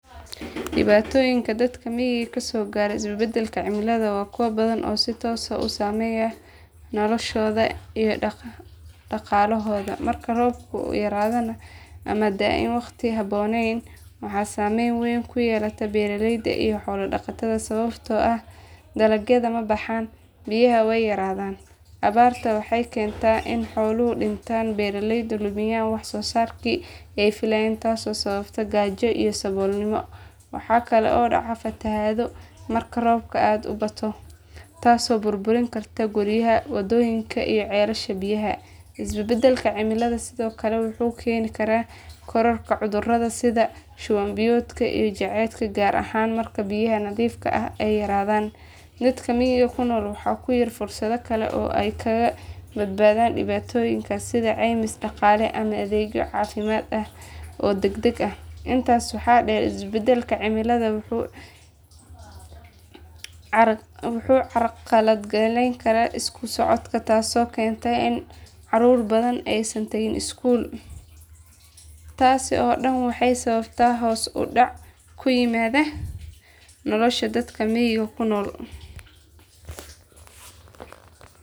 Dhibaatooyinka dadka miyiga ka soo gaara isbedbedelka cimilada waa kuwo badan oo si toos ah u saameeya noloshooda iyo dhaqaalahooda. Marka roobabku yaraadaan ama da aan waqti aan habboonayn waxaa saamayn weyn ku yeelata beeraleyda iyo xoolo dhaqatada sababtoo ah dalagyada ma baxaan biyahana way yaraadaan. Abaarta waxay keentaa in xooluhu dhintaan beeraleyduna lumiyaan wax soo saarkii ay filayeen taasoo sababa gaajo iyo saboolnimo. Waxaa kale oo dhacda fatahaado marka roobka aad u bato taasoo burburin karta guryaha, waddooyinka iyo ceelasha biyaha. Isbedbedelka cimilada sidoo kale wuxuu keeni karaa kororka cudurada sida shuban biyoodka iyo jadeecada gaar ahaan marka biyaha nadiifka ah ay yaraadaan. Dadka miyiga ku nool waxaa ku yar fursadaha kale oo ay kaga badbaadaan dhibaatooyinkaas sida caymis dhaqaale ama adeegyo caafimaad oo degdeg ah. Intaas waxaa dheer isbedbedelka cimilada wuxuu carqaladeeyaa isku socodka taasoo keenta in carruur badan aysan tagin iskuul. Taasi oo dhan waxay sababtaa hoos u dhac ku yimaada nolosha dadka miyiga ku nool.